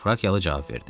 Frakiyalı cavab verdi.